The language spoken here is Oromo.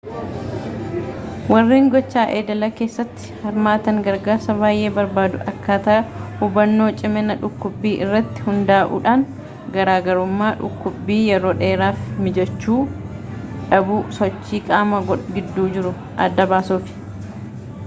warreen gocha idilee kessatti hirmaatan gargarsaa bay'ee barbaadu akkaataa hubbannoo cimina dhukkubbii irratti hundaa'uudhaan garaagarummaa dhukkubbii yeroo dheeraa fi miijachuu dhabuu sochii qaamaa gidduu jiru adda baasuuf